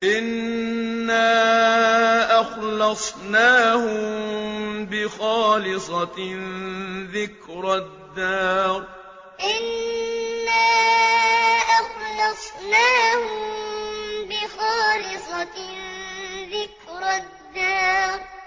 إِنَّا أَخْلَصْنَاهُم بِخَالِصَةٍ ذِكْرَى الدَّارِ إِنَّا أَخْلَصْنَاهُم بِخَالِصَةٍ ذِكْرَى الدَّارِ